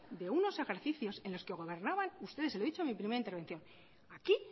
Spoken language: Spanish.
de unos ejercicios en los que gobernaban ustedes y se lo he dicho en mi primera intervención aquí